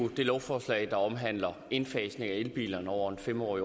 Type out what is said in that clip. det lovforslag der omhandler indfasning af elbiler over en fem årig